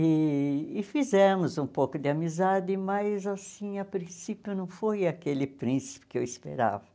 E e fizemos um pouco de amizade, mas assim, a princípio não foi aquele príncipe que eu esperava.